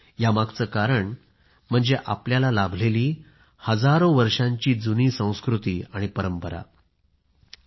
यामागचं कारण म्हणजे आपल्याला लाभलेली हजारो वर्षांची जुनी संस्कृती परंपरा आहे